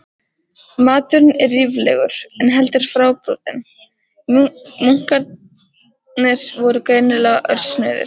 Maturinn var ríflegur, en heldur fábrotinn- munkarnir voru greinilega örsnauðir.